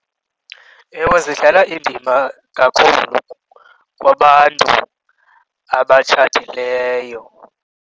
Ewe, zidlala indima kakhulu kwabantu abatshatileyo.